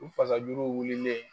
U fasajuruw wililen